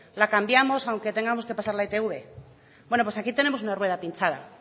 la cambiamos aunque tengamos que pasar la itv bueno pues aquí tenemos una rueda pinchada